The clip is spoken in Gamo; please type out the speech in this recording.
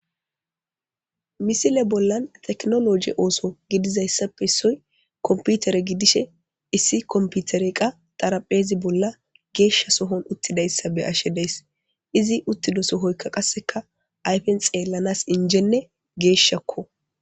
Misile bollan teknologi ooso gidizayssappe issoy komputere gidishe issi komputere qa xarapheezi bolla geeshsha sohon uttidayssa be ashe dees izi uttido sohoykka qasseka ayfen xeellanas injenne geeshshakko.